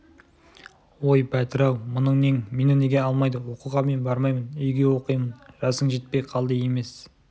ой бәтір-ау мұның нең мені неге алмайды оқуға мен бармаймын үйге оқимын жасың жетпей қалды емес